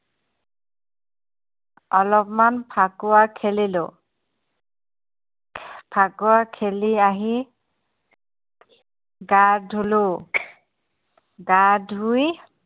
অলপমান ফাকুৱা খেলিলোঁ ফাকুৱা খেলি আহি গা ধুলো গা ধুই